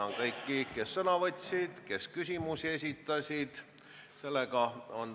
Tänan kõiki, kes sõna võtsid, ja kõiki, kes küsimusi esitasid.